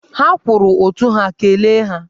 Ha kwụrụ ụtụ ha, kelee ha!